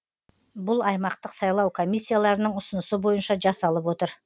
бұл аймақтық сайлау комиссияларының ұсынысы бойынша жасалып отыр